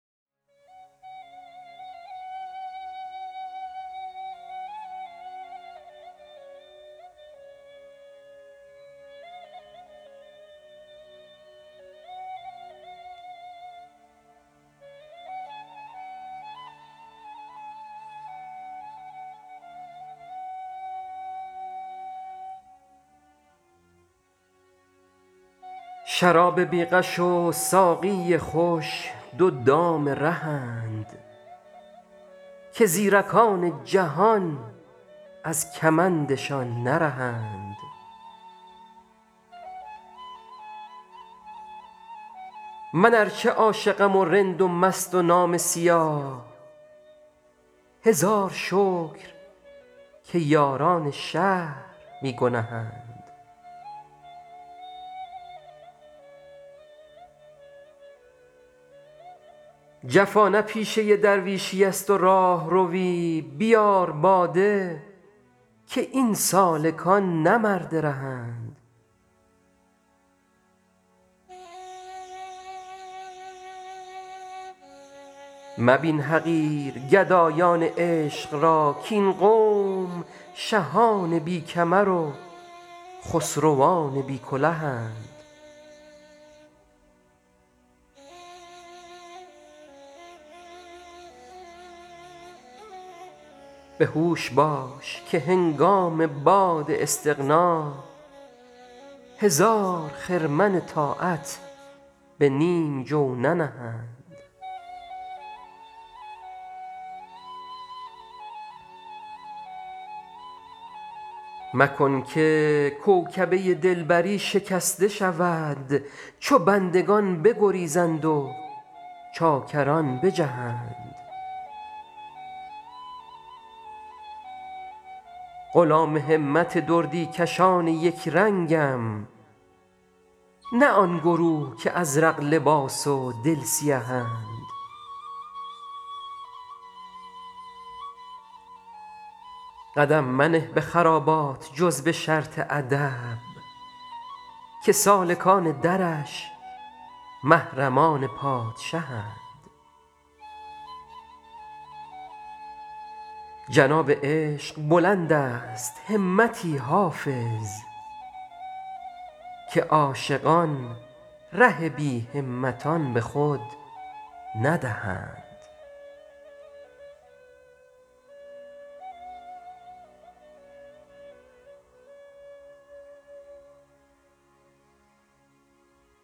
شراب بی غش و ساقی خوش دو دام رهند که زیرکان جهان از کمندشان نرهند من ار چه عاشقم و رند و مست و نامه سیاه هزار شکر که یاران شهر بی گنهند جفا نه پیشه درویشیست و راهروی بیار باده که این سالکان نه مرد رهند مبین حقیر گدایان عشق را کاین قوم شهان بی کمر و خسروان بی کلهند به هوش باش که هنگام باد استغنا هزار خرمن طاعت به نیم جو ننهند مکن که کوکبه دلبری شکسته شود چو بندگان بگریزند و چاکران بجهند غلام همت دردی کشان یک رنگم نه آن گروه که ازرق لباس و دل سیهند قدم منه به خرابات جز به شرط ادب که سالکان درش محرمان پادشهند جناب عشق بلند است همتی حافظ که عاشقان ره بی همتان به خود ندهند